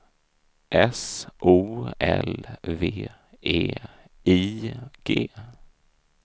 S O L V E I G